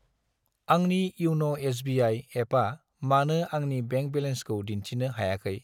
आंनि इउन' एस.बि.आइ. एपा मानो आंनि बेंक बेलेन्सखौ दिन्थिनो हायाखै?